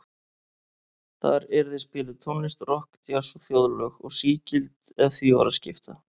Þar yrði spiluð tónlist, rokk, djass og þjóðlög, og sígild ef því var að skipta.